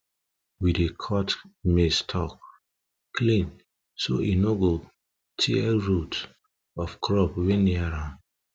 we dey cut maize stalk clean so e no go tear root of crop wey near am